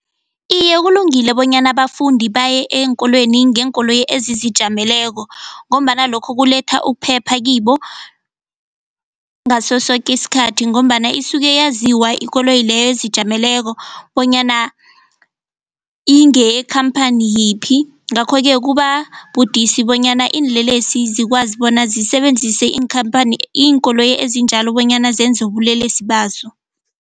Iye, kulungile bonyana abafundi baye eenkolweni ngeenkoloyi ezizijameleko ngombana lokho kuletha ukuphepha kibo ngaso soke isikhathi ngombana isuke yaziwa ikoloyi leyo ezijameleko bonyana ingeyekhamphani yiphi ngakho-ke kuba budisi bonyana iinlelesi zikwazi bona zisebenzise iinkhamphani iinkoloyi ezinjalo bonyana zenze ubulelesi bazo.